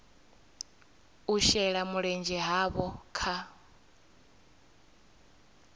u shela mulenzhe havho kha